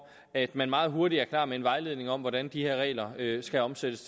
at man meget hurtigt er klar med en vejledning om hvordan de her regler skal omsættes